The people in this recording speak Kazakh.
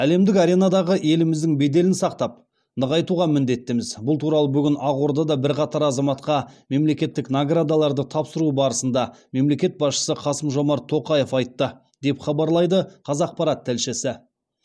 әлемдік аренадағы еліміздің беделін сақтап нығайтуға міндеттіміз бұл туралы бүгін ақордада бірқатар азаматқа мемлекеттік наградаларды тапсыру барысында мемлекет басшысы қасым жомарт тоқаев айтты деп хабарлайды қазақпарат тілшісі